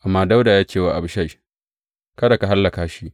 Amma Dawuda ya ce wa Abishai, Kada ka hallaka shi.